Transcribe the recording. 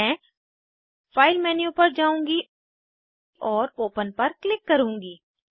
मैं file menu पर जाऊँगी और ओपन पर क्लिक करूँगी